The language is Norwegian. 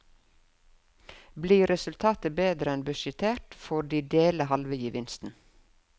Blir resultatet bedre enn budsjettert, får de dele halve gevinsten.